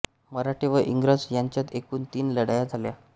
मराठे व इंग्रज यांच्यात एकूण तीन लढाया झाल्या